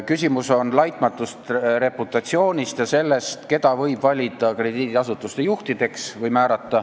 Küsimus on laitmatus reputatsioonis ja selles, keda võib valida või määrata krediidiasutuse juhiks.